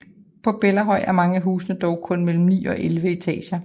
På Bellahøj er mange af husene dog kun mellem 9 og 11 etager